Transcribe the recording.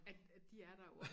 At at de er der jo og